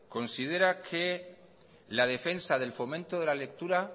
considera que la defensa del fomento de la lectura